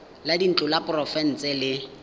la dintlo la porofense le